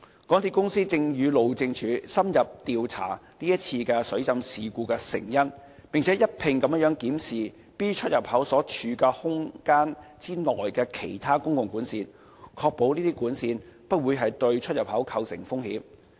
港鐵公司正與路政署深入調查這次水浸事故的成因，並一併檢視 B 出入口所處空間內其他公共管線，確保這些管線不會對出入口構成風險。